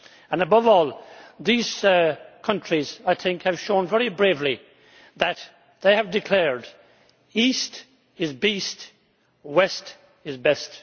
And above all, these countries, I think, have shown very bravely that they have declared East is beast, West is best'.